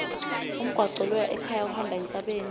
umgwaco loya ekhaya uhamba entsabeni